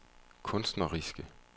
kunstneriske